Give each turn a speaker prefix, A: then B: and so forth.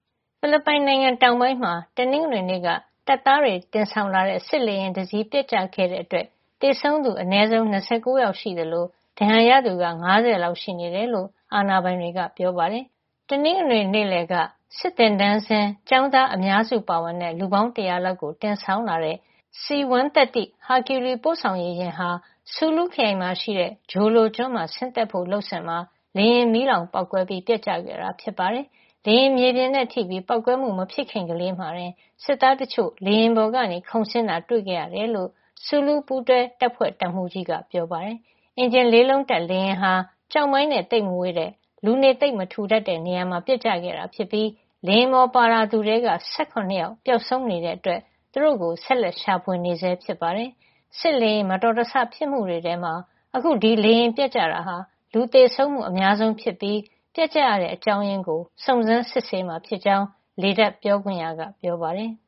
A: ဖိလစ်ပိုင်နိုင်ငံ တောင်ပိုင်းမှာ တနင်္ဂနွေနေ့က တပ်သားတွေ တင်ဆောင်လာတဲ့ စစ်လေယာဉ်တစီး ပျက်ကျခဲ့တဲ့အတွက် သေဆုံးသူ အနည်းဆုံး ၂၉ ယောက်ရှိသလို ဒဏ်ရာရသူလည်း ၅၀ လောက်ရှိနေတယ်လို့ အာဏာပိုင်တွေက ပြောပါတယ်။ တနင်္ဂနွေ နေ့လယ်က စစ်သင်တန်းဆင်း ကျောင်းသား အများစုပါဝင်တဲ့ လူပေါင်း ၁၀၀ လောက်ကို တင်ဆောင်လာတဲ့ C-130 ဟာကျူလီ ပို့ဆောင်ရေးယာဉ်ဟာ ဆူလူးခရိုင်မှာရှိတဲ့ ဂျိုလိုကျွန်းမှာ ဆင်းသက်ဖို့ လုပ်စဉ်မှာ လေယာဉ် မီးလောင်ပေါက်ကွဲပြီး ပျက်ကျခဲ့တာ ဖြစ်ပါတယ်။ လေယာဉ် မြေပြင်နဲ့ထိပြီး ပေါက်ကွဲမှု မဖြစ်ခင်ကလေးမှာ စစ်သားတချို့ လေယာဉ်ပေါ်က ခုန်ဆင်းကြတာကို တွေ့ခဲ့ရတယ်လို့ ဆူလူး ပူးတွဲတပ်ဖွဲ့ တပ်မှူးကြီးကပြောပါတယ်။ အင်ဂျင် ၄ လုံးတပ် လေယာဉ်ဟာ ကျောက်မိုင်းနဲ့ သိပ်မဝေးတဲ့ လူနေသိပ်မထူထပ်တဲ့ နေရာမှာ ပျက်ကျခဲ့တာဖြစ်ပြီး လေယာဉ်ပေါ် ပါလာသူထဲက ၁၇ ယောက် ပျောက်ဆုံးနေတဲ့အတွက် သူတို့ကို ဆက်လက်ရှာဖွေနေဆဲ ဖြစ်ပါတယ်။ ဖိလစ်ပိုင်စစ်တပ်က စစ်လေယာဉ် မတော်တဆ ဖြစ်မှုတွေထဲမှာ အခု ဒီလေယာဉ် ပျက်ကျတာဟာ လူသေဆုံးမှု အများဆုံးဖြစ်ပြီး ပျက်ကျရတဲ့ အကြောင်းရင်းကို စုံစမ်းစစ်ဆေးမှာ ဖြစ်ကြော
B: င်း လေတပ်ပြောခွင့်ရက ပြောပါတယ်။